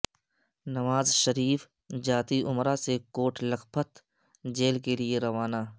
نواز شریف جاتی امراء سے کوٹ لکھپت جیل کیلئے روانہ